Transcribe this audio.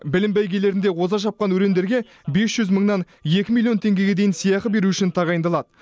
білім бәйгелерінде оза шапқан өрендерге бес жүз мыңнан екі миллион теңгеге дейін сыйақы беру үшін тағайындалады